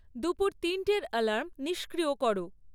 দুপুর তিনটের অ্যালার্ম নিষ্ক্রিয় কর